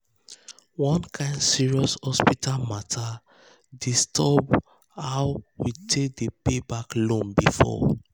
one kain serious hospital matter disturb how we dey pay back loan before.